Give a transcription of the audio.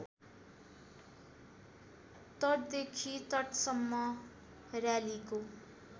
तटदेखि तटसम्म र्‍यालीको